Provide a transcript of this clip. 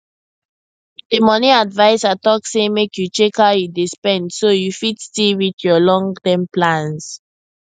the money adviser talk say make you check how you dey spend so you fit still reach your longterm plans